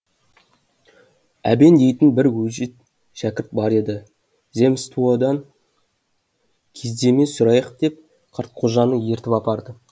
әбен дейтін бір өжет шәкірт бар еді земстуодан кездеме сұрайық деп қартқожаны ертіп апарды